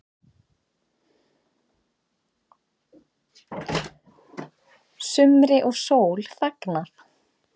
Sumri og sól fagnað